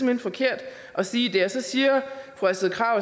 hen forkert at sige det så siger fru astrid krag